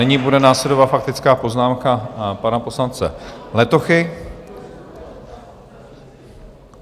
Nyní bude následovat faktická poznámka pana poslance Letochy.